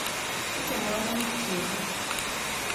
Atamanani cheko.